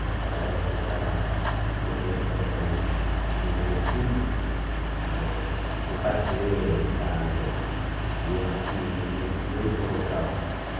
Naquela época, como eu era também primeiro filho, eh foi parteira em casa e eu nasci nesse mesmo local.